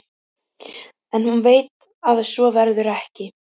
En hún veit að svo verður ekki.